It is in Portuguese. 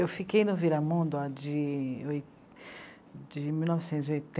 Eu fiquei no Viramundo de oi... de mil novecentos e